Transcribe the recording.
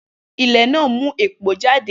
Ilẹ̀ náà mú èpò jáde